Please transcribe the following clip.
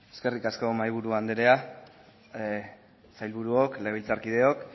eskerrik asko mahaiburu andrea sailburuok legebiltzarkideok